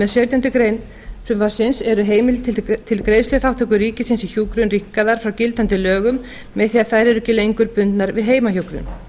með sautjándu grein frumvarpsins eru heimildir til greiðsluþátttöku ríkisins í hjúkrun rýmkaðar frá gildandi lögum með því að þær eru ekki lengur bundnar við heimahjúkrun